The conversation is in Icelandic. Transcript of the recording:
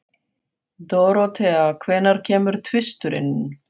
Dorothea, hvenær kemur tvisturinn?